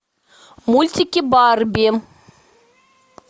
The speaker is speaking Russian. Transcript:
мультики барби